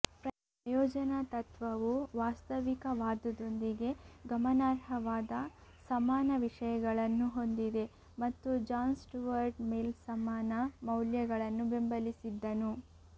ಪ್ರಯೋಜನತತ್ವವು ವಾಸ್ತವಿಕವಾದದೊಂದಿಗೆ ಗಮನಾರ್ಹವಾದ ಸಮಾನ ವಿಷಯಗಳನ್ನು ಹೊಂದಿದೆ ಮತ್ತು ಜಾನ್ ಸ್ಟುವರ್ಟ್ ಮಿಲ್ ಸಮಾನ ಮೌಲ್ಯಗಳನ್ನು ಬೆಂಬಲಿಸಿದ್ದನು